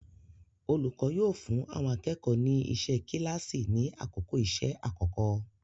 Olùkọ́ yóò fún àwọn akẹ́kọ̀ọ́ ni iṣẹ́ kíláàsì ni àkókò iṣẹ́ àkọ́kọ́.